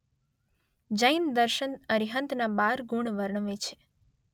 જૈન દર્શન અરિહંતના બાર ગુણ વર્ણવે છે.